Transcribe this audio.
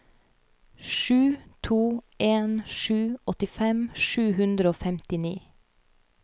sju to en sju åttifem sju hundre og femtini